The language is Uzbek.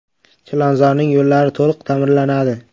Chilonzorning yo‘llari to‘liq ta’mirlanadi.